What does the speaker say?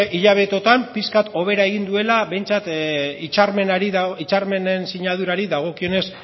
hilabeteotan pixkat hobera egin duela behintzat hitzarmenen sinadurari dagokionez